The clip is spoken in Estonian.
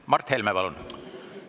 Mart Helme, palun!